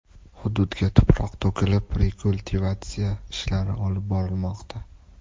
Hududga tuproq to‘kilib, rekultivatsiya ishlari olib borilmoqda.